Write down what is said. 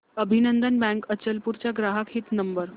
अभिनंदन बँक अचलपूर चा ग्राहक हित नंबर